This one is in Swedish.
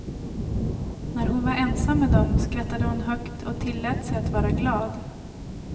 När hon var ensam med dem skrattade hon högt och tillät sig att vara glad.